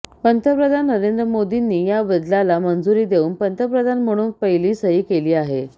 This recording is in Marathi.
पंतप्रधान नरेंद्र मोदींनी या बदलाला मंजुरी देऊन पंतप्रधान म्हणून पहिली सही केली आहे